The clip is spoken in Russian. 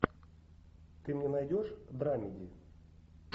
ты мне найдешь драмеди